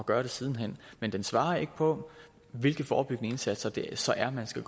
gøre det siden hen men den svarer ikke på hvilke forebyggende indsatser det så er man skal